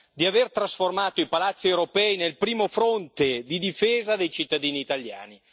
di aver trasformato i palazzi europei nel primo fronte di difesa dei cittadini italiani.